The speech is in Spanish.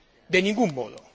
De ningún modo.